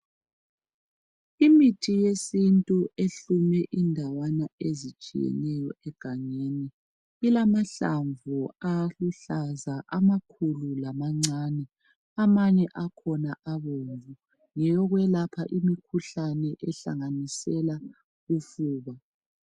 Imithi yesintu ehlume indawana ezitshiyeneyo egangeni. Ilamahlamvu aluhlaza amakhulu lamancane, amanye akhona abomvu, ngeyokwelapha imikhuhlane ehlanganisela usiba.